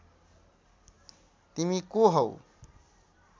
तिमी को हौ